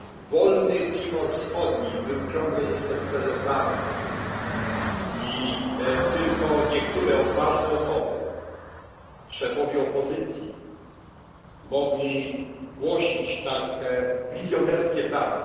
Wolny Timor Wschodni był ciągle jeszcze w sferze planów i tylko niektóre odważne osoby, szefowie opozycji, mogli głosić tak wizjonerskie plany.